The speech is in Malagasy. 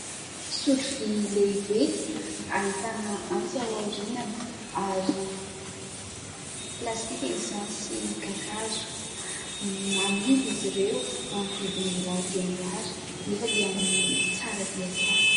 Sotro vy lehibe ahitana antsy ao aorianany ary plastika izany sy kakazo. Amidy izy ireo amin'ny vidiny mirary dia mirary nefa dia tsara dia tsara.